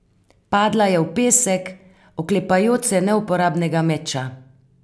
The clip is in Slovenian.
Padla je v pesek, oklepajoč se neuporabnega meča.